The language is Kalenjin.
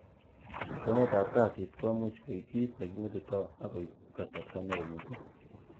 Cheng'etab kasit komuuch koik kit neking'etitoot ak koib kasarta neo missing.